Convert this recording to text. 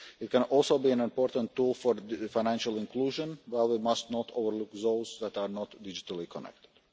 It can also be an important tool for financial inclusion, while we must not overlook those that are not digitally connected.